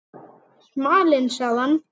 Smalinn sagði